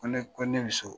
Ko ne ko ne bi so